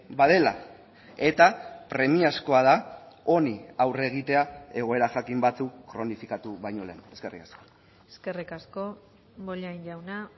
badela eta premiazkoa da honi aurre egitea egoera jakin batzuk kronifikatu baino lehen eskerrik asko eskerrik asko bollain jauna